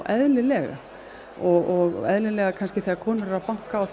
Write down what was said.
eðlilega og eðlilega kannski þegar konur eru að banka á